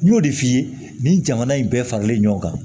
N y'o de f'i ye nin jamana in bɛɛ faralen ɲɔgɔn kan